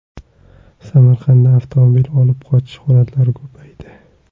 Samarqandda avtomobil olib qochish holatlari ko‘paydi.